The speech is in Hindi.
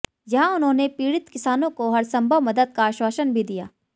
यहां उन्होंने पीडि़त किसानों को हर संभव मदद का आश्वासन भी दिया